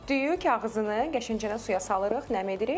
Düyü kağızını qəşəngcə suya salırıq, nəm edirik.